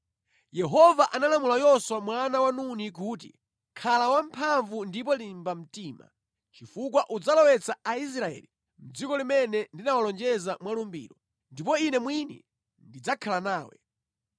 Yehova analamula Yoswa mwana wa Nuni kuti, “Khala wamphamvu ndipo limba mtima, chifukwa udzalowetsa Aisraeli mʼdziko limene ndinawalonjeza mwa lumbiro, ndipo Ine mwini ndidzakhala nawe.”